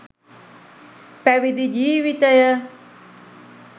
පැවිදි ජීවිතය